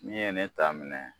Min ye ne ta minɛ